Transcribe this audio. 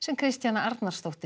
Kristjana Arnarsdóttir